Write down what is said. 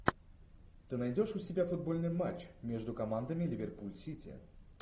ты найдешь у себя футбольный матч между командами ливерпуль сити